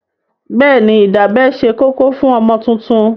Bẹ́ẹ̀ni, ìdábẹ́ ṣe kókó fún ọmọ tuntun.